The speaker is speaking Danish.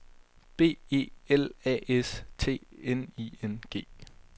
B E L A S T N I N G